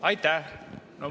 Aitäh!